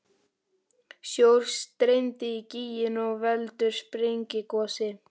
Sjór streymir í gíginn og veldur sprengigosi.